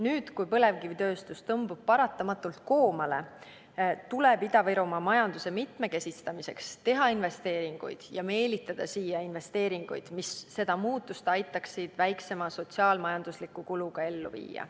Nüüd, kui põlevkivitööstus tõmbub paratamatult koomale, tuleb Ida-Virumaa majanduse mitmekesistamiseks teha investeeringuid ja meelitada siia investeeringuid, mis seda muutust aitaksid väiksema sotsiaal-majandusliku kuluga ellu viia.